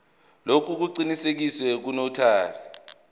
lokhu kuqinisekiswe ngunotary